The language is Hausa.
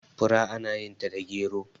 fura ana yinta da gero